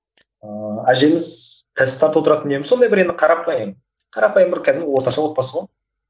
ыыы әжеміз сондай бір енді қарапайым қарапайым бір кәдімгі орташа отбасы ғой